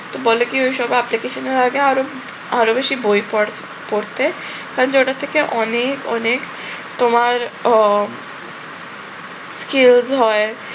তো বলে কি ওইসব application এর আগে আরো আরো বেশি বই পড় পড়তে কারণ যে ওটা থেকে অনেক অনেক তোমার আহ কি হয়